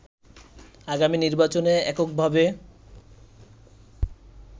আগামী নির্বাচনে এককভাবে